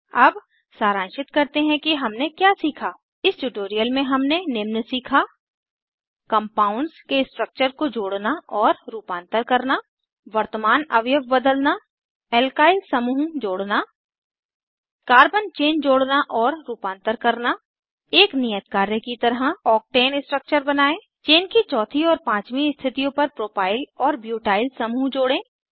अब सारांशित करते हैं कि हमने क्या सीखा इस ट्यूटोरियल में हमने निम्न सीखा कंपाउंड्स के स्ट्रक्चर को जोड़ना और रूपांतर करना वर्तमान अवयव बदलना एल्काइल समूहों जोड़ना कार्बन चेन जोड़ना और रूपांतर करना एक नियत कार्य की तरह ऑक्टेन स्ट्रक्चर बनायें चेन की चौथी और पाँचवीं स्थितियों पर प्रोपाइल और ब्यूटाइल समूह जोड़ें